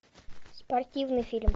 спортивный фильм